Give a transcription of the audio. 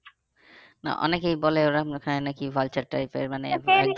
না অনেকেই বলে ওখানে নাকি type এর